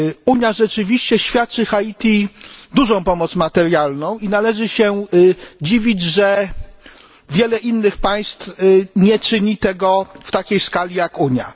Unia rzeczywiście niesie Haiti dużą pomoc materialną i należy się dziwić, że wiele innych państw nie czyni tego w takiej skali jak Unia.